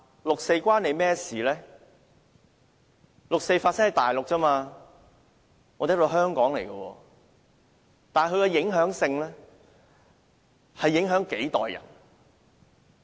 六四事件是在內地發生而已，我們這裏是香港；但它卻影響了數代人。